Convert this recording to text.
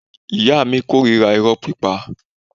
Ìyá mi korira iro pípa.